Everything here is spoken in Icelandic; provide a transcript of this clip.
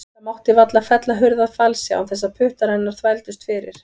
Það mátti varla fella hurð að falsi án þess að puttar hennar þvældust fyrir.